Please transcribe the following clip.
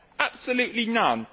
Absolutely none.